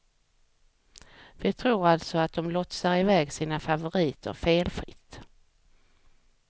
Vi tror alltså att dom lotsar iväg sina favoriter felfritt.